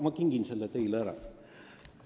Ma kingin selle väljavõtte teile.